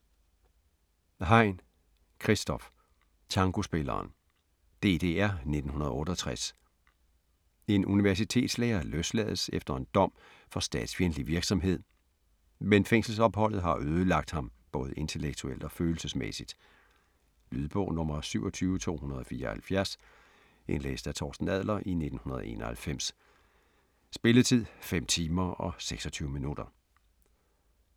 Hein, Christoph: Tangospilleren DDR, 1968. En universitetslærer løslades efter en dom for statsfjendtlig virksomhed, men fængselsopholdet har ødelagt ham både intellektuelt og følelsesmæssigt. Lydbog 27274 Indlæst af Torsten Adler, 1991. Spilletid: 5 timer, 26 minutter.